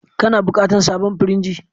Kana buƙatar sabon firinji?